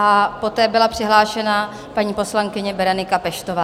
A poté byla přihlášena paní poslankyně Berenika Peštová.